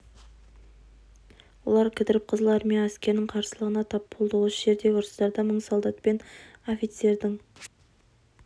олар кідіріп қызыл армия әскерінің қарсылығына тап болды осы жердегі ұрыстарда мың солдат пен офицердің